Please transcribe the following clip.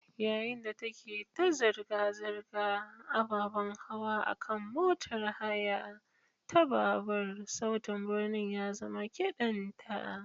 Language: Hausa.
Yayin da ta ke ta zirga-zirgar ababen hawa a kan motar haya ta babur, sautin birni ya zama kiɗanta.